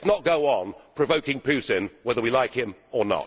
Let us not go on provoking Putin, whether we like him or